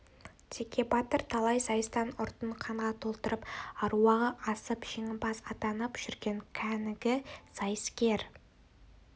теке батыр талай сайыстан ұртын қанға толтырып аруағы асып жеңімпаз атанып жүрген кәнігі сайыскер